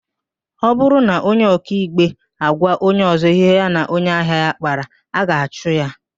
Ọ bụrụ na onye ọkaikpe agwa onye ọzọ ihe ya na onye ahịa ya kpara, a ga-achụ ya